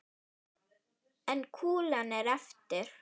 En kúlan er eftir.